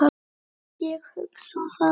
Ég hugsa það.